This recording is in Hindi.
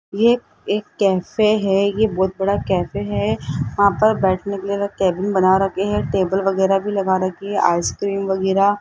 ये एक कैफे है ये बहुत बड़ा कैफे है वहां पर बैठने के लिए अलग केबिन बना रखे है टेबल वगैरा भी लगा रखी है आइसक्रीम वगैरा --